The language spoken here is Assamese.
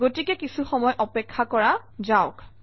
গতিকে কিছুসময় অপেক্ষা কৰা যাওক